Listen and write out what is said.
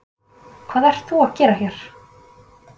Hvað ert þú að gera hér?